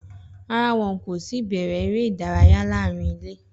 Rárá, wọn kò tí ì bẹ̀rẹ̀ eré ìdárayá láàárín ilé.